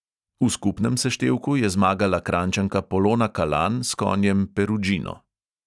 V skupnem seštevku je zmagala kranjčanka polona kalan s konjem perudžino.